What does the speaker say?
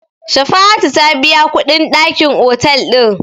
Shafa'atu ta biya kuɗin dakin otel ɗin.